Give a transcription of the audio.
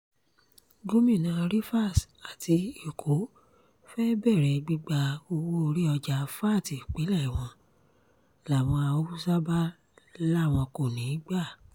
gomina rivers àti èkó fée bẹ̀rẹ̀ gbígba owó-orí ọjà vat ìpínlẹ̀ wọn làwọn haúsá bá láwọn kò ní í gbà